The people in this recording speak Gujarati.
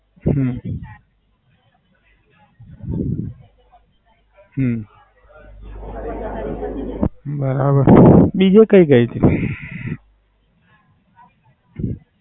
હમ હમ બરાબર છે. બીજું કઈ કેય છે.